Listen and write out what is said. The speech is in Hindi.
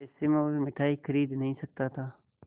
ऐसे में वह मिठाई खरीद नहीं सकता था